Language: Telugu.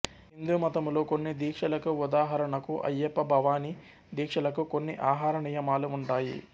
హిందూమతములో కొన్ని దీక్షలకు ఉదాహరణకు అయ్యప్ప భవానీ దీక్షలకు కొన్ని ఆహార నియమాలు ఉంటాయి